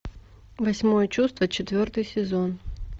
восьмое чувство четвертый сезон